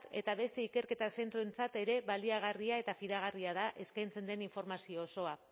eta beste ikerketa zentroentzat ere baliagarria eta fidagarria da eskaintzen den informazio osoa